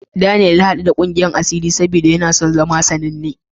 Daniyel ya haɗu da ƙungiyar asiri saboda yana so ya zama sananne.